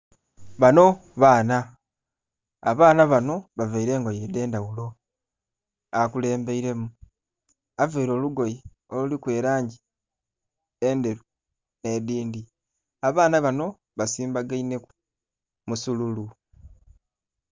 Bano baana. Abaana bano bavaile engoye edh'endhaghulo. Akulembeilemu availe olugoye oluliku elangi endheru, nh'edhindhi. Abaana bano basimbagainheku musululu.